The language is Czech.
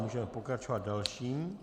Můžeme pokračovat dalším.